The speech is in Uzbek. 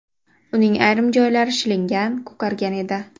Uning ayrim joylari shilingan, ko‘kargan edi.